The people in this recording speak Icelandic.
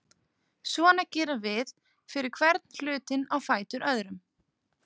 Svona gerum við fyrir hvern hlutinn á fætur öðrum.